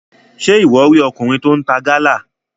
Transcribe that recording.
Ṣe iwọ ri ọkùnrin tí o n ta Gala?